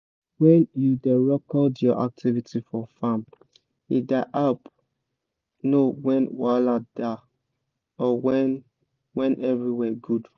when you da record your activity for farm e da help know when wahala da or when when everywhere good